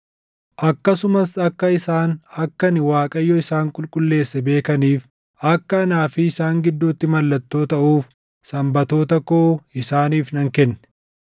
Akkasumas akka isaan akka ani Waaqayyo isaan qulqulleesse beekaniif, akka anaa fi isaan gidduutti mallattoo taʼuuf Sanbatoota koo isaaniif nan kenne.